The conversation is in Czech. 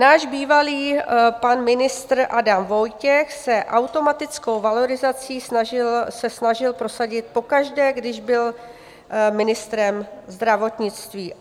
Náš bývalý pan ministr Adam Vojtěch se automatickou valorizaci snažil prosadit pokaždé, když by ministrem zdravotnictví.